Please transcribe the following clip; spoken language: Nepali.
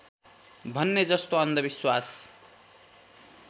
भन्ने जस्तो अन्धविश्वास